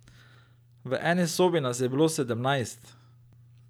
V eni sobi nas je bilo sedemnajst.